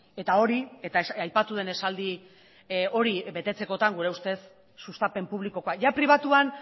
eta hori eta aipatu den esaldi hori betetzekotan gure ustez sustapen publikokoa pribatuan